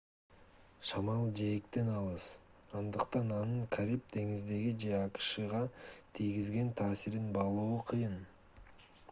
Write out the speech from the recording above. шамал жээктен алыс андыктан анын кариб деңизине же акшга тийгизген таасирин баалоо кыйын